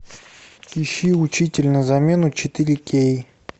ищи учитель на замену четыре кей